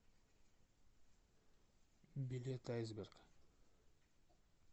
билет айсберг